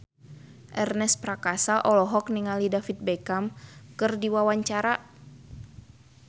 Ernest Prakasa olohok ningali David Beckham keur diwawancara